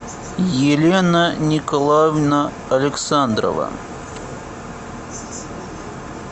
елена николаевна александрова